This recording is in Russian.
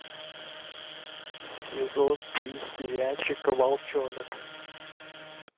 сезон три сериальчика волчонок